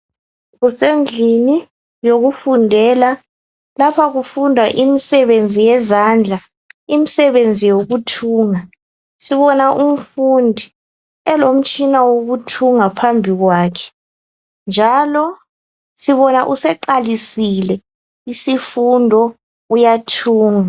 Kusendlini yokufundela. Lapha kufundwa imsebenzi yezandla. Imsebenzi yokuthunga. Sibona umfundi elomtshina wokuthunga phambi kwakhe, njalo sibona useqalisile isifundo uyathunga.